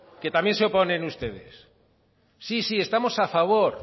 que también se oponen ustedes sí sí estamos a favor